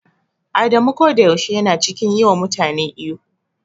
Adamu koda yaushe yana cikin yi wa mutane ihu.